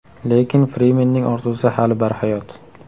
Lekin Frimenning orzusi hali barhayot.